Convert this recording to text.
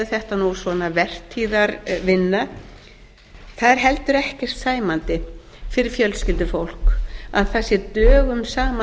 þetta vertíðarvinna það er heldur ekki sæmandi fyrir fjölskyldufólk að það sé dögum saman